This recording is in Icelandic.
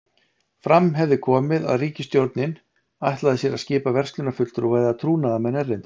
Fram hefði komið, að ríkisstjórnin ætlaði sér að skipa verslunarfulltrúa eða trúnaðarmenn erlendis.